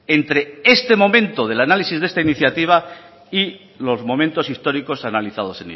entre este momento del análisis de esta iniciativa y los momentos históricos analizados